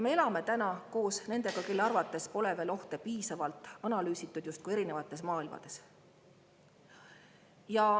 Me elame täna koos nendega, kelle arvates pole veel ohte piisavalt analüüsitud, justkui erinevates maailmades.